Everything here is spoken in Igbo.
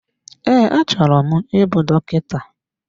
Ee, achọrọ m ịbụ dọkịta.